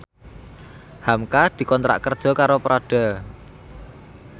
hamka dikontrak kerja karo Prada